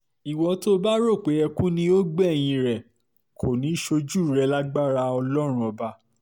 ìwọ tó o bá rò ó pé ẹkún ni yóò gbẹ̀yìn rẹ̀ kò ní í ṣojú rẹ̀ lágbára ọlọ́run ọba